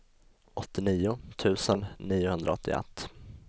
åttionio tusen niohundraåttioett